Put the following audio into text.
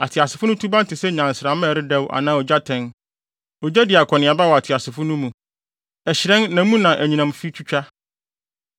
Ateasefo no suban te sɛ nnyansramma a ɛredɛw anaa ogyatɛn. Ogya di akɔneaba wɔ ateasefo no mu; ɛhyerɛn na mu na anyinam fi twitwa.